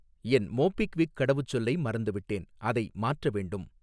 என் MobiKwik கடவுச்சொல்லை மறந்துவிட்டேன், அதை மாற்ற வேண்டும்.